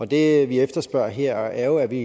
det vi efterspørger her er jo at vi